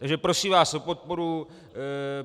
Takže prosím vás o podporu.